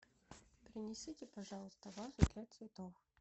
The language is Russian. принесите пожалуйста вазу для цветов